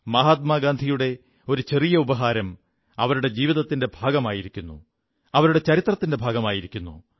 മഹാത്മാഗാന്ധിയുടെ ഒരു ചെറിയ ഉപഹാരം അവരുടെ ജീവിതത്തിന്റെ ഭാഗമായിരിക്കുന്നു അവരുടെ ചരിത്രത്തിന്റെ ഭാഗമായിരിക്കുന്നു